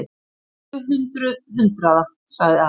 Tvö hundruð hundraða, sagði Ari.